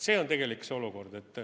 See on tegelik olukord.